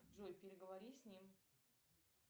джой переговори с ним